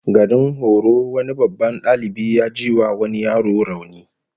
Garin horo wani babban dalibi ya jiwa wani yaro rauni